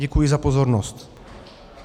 Děkuji za pozornost.